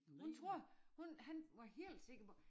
Hun tror hun han var helt sikker på